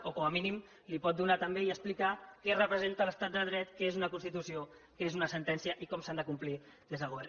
o com a mínim li pot donar també i explicar què representa l’estat de dret què és una constitució què és una sentència i com s’han de complir des del govern